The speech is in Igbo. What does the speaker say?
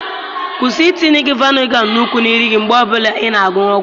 Kwụsị itinye vaịnga nnukwu na nri gị mgbe ọ bụla ị na-aṅụ ọgwụ.